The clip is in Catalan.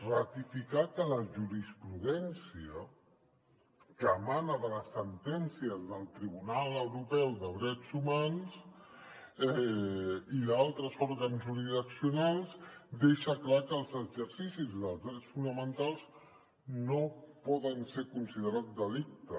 ratificar que la jurisprudència que emana de les sentències del tribunal euro·peu de drets humans i d’altres òrgans jurisdiccionals deixa clar que els exercicis dels drets fonamentals no poden ser considerats delicte